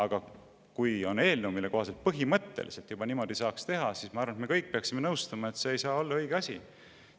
Aga kui on eelnõu, mille kohaselt põhimõtteliselt niimoodi saaks teha, siis ma arvan, et me kõik peaksime nõustuma, et see ei saa olla õige asi.